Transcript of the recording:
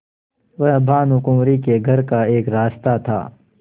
वह भानुकुँवरि के घर का एक रास्ता था